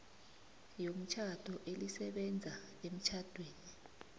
yomtjhado elisebenza emtjhadweni